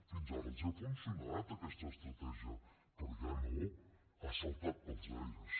fins ara els ha funcionat aquesta estratègia però ja no ha saltat pels aires